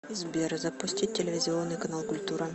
сбер запустить телевизионный канал культура